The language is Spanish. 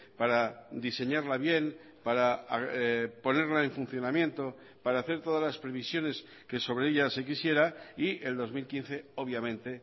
para diseñarla bien para ponerla en funcionamiento para hacer todas las previsiones que sobre ella se quisiera y el dos mil quince obviamente